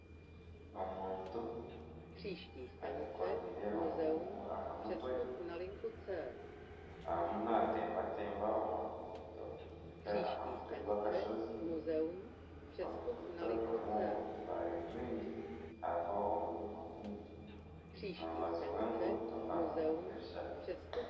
Omuntu ayekoreire emigugu aha mutwe. Arimu naatembatemba aha ruguuto kuhika aha mutwe gw'akashozi. Oruguuto rurimu otubaare twingi hariho omwirima mwingi. Omu rubaju rw'enguuto harimu ebishaka.